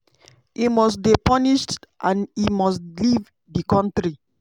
e must dey punished and e must leave di kontri."